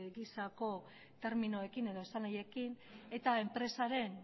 gisako terminoekin edo esanahiekin eta enpresaren